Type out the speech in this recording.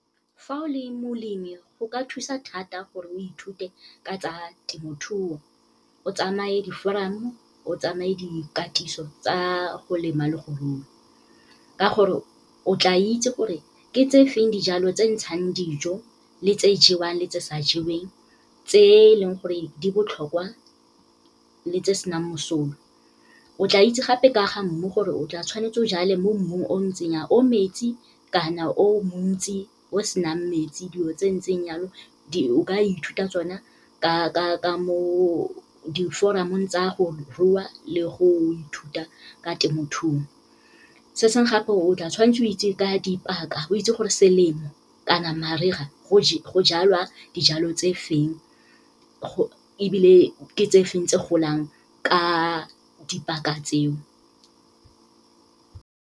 Fa o le molemi go ka thusa thata gore o ithute ka tsa temothuo, o tsamaye di-forum-o, o tsamaye dikatiso tsa go lema le go rua. Ka gore, o tla itse gore ke tse feng dijalo tse ntshang dijo, le tse jewang le tse sa jeweng, tse leng gore di botlhokwa le tse senang mosola. O tla itse gape ka ga mmu gore o tla tshwanetse o jale mo mmung o o ntseng jang, o metsi kana o montsi, o senang metsi dilo tse ntseng jalo, o ka ithuta tsona ka mo di-forum-ong tsa go rua le go ithuta ka temothuo. Se sengwe gape, o tla tshwantse o itse ka dipaka, o itse gore selemo kana mariga go jalwa dijalo tse feng ebile ke tse feng tse golang, ka dipaka tseo.